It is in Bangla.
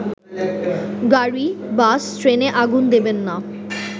গাড়ি-বাস-ট্রেনে আগুন দেবেন না